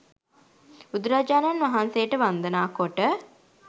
බුදුරජාණන් වහන්සේට වන්දනා කොට